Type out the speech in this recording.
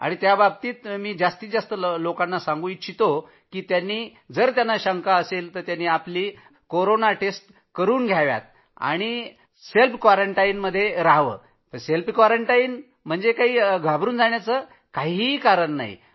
त्याबाबतीत जास्तीत जास्ता लोकांना सांगू इच्छितो की चाचणी करून घ्या क्वारंटाईन याचा अर्थ घाबरू नका